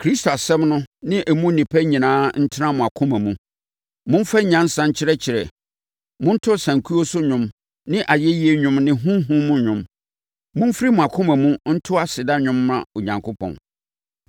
Kristo asɛm no ne mu nnepa nyinaa ntena mo akoma mu. Momfa nyansa nkyerɛkyerɛ. Monto asankuo so nnwom ne ayɛyie nnwom ne honhom mu nnwom. Momfiri mo akoma mu nto aseda nnwom mma Onyankopɔn.